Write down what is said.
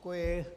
Děkuji.